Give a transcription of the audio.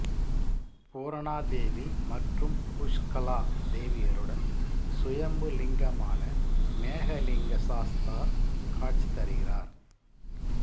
பூரணா தேவி மற்றும் புஷ்கலா தேவியருடன் சுயம்பு லிங்கமான மேகலிங்க சாஸ்தா காட்சி தருகிரார்